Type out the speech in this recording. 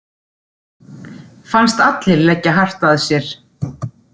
Fannst allir leggja hart að sér.